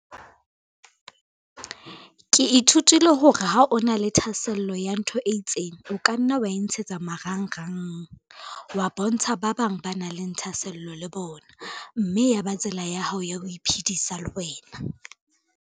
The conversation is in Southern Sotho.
Ke ithutile hore ha o na le thahasello ya ntho e itseng, o ka nna wa e ntshetsa marangrang. Wa bontsha ba bang ba nang le thahasello le bona, mme ya ba tsela ya hao ya ho iphidisa le wena.